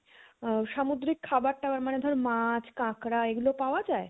আ~ সামুদ্রিক খাবার টাবার মানে ধরে মাছ কাঁকড়া এগুলো পাওয়া যায়?